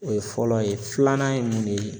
O ye fɔlɔ ye filanan ye mun de ye